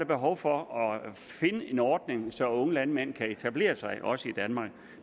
behov for at finde en ordning så unge landmænd kan etablere sig også i danmark